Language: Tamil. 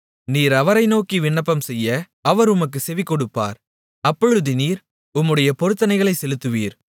நீர் அவரை நோக்கி விண்ணப்பம்செய்ய அவர் உமக்குச் செவிகொடுப்பார் அப்பொழுது நீர் உம்முடைய பொருத்தனைகளைச் செலுத்துவீர்